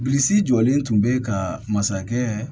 Bilisi jɔlen tun bɛ ka masakɛ